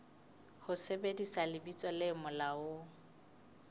ho sebedisa lebitso le molaong